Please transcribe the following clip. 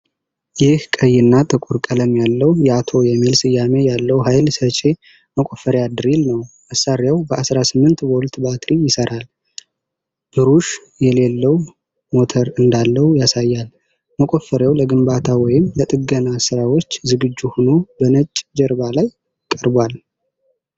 ይህ ቀይና ጥቁር ቀለም ያለው ያቶ የሚል ስም ያለው ኃይል ሰጪ መቆፈሪያ ድሪል ነው። መሣሪያው በ18 ቮልት ባትሪ ይሰራል፣ ብሩሽ የሌለው ሞተር እንዳለው ያሳያል። መቆፈሪያው ለግንባታ ወይም ለጥገና ስራዎች ዝግጁ ሆኖ በነጭ ጀርባ ላይ ቀርቧል።